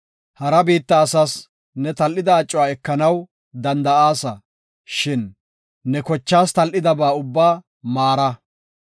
Hara biitta asas ne tal7ida acuwa ekanaw danda7aasa, shin ne kochaas tal7idaba ubbaa maara.